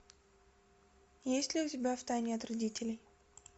есть ли у тебя в тайне от родителей